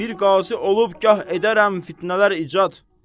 Bir qazi olub gah edərəm fitnələr icad.